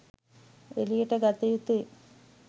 එළියට ගත යුතුයි.